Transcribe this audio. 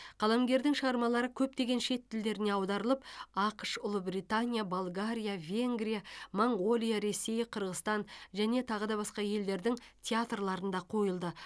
қаламгердің шығармалары көптеген шет тілдерге аударылып ақш ұлыбритания болгария венгрия моңғолия ресей қырғызстан тағы басқа елдердің театрларында қойылды